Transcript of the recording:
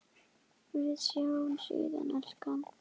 Við sjáumst síðar, elskan.